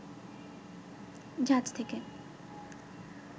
ঝাঁজ থেকে